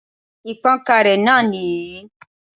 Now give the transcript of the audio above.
Ìpankanré náà nìyí